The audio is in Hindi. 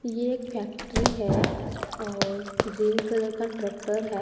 ये एक फैक्ट्री है और ग्रीन कलर का ट्रकटर है।